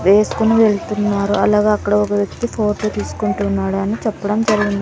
వేసుకొని వెళ్తున్నారు అలాగే అక్కడ ఒక వ్యక్తి ఫోటో తీసుకుంటున్నాడు అని చెప్పడం జరిగిం --